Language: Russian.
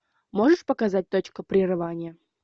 можешь показать точка прерывания